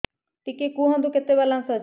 ଟିକେ କୁହନ୍ତୁ କେତେ ବାଲାନ୍ସ ଅଛି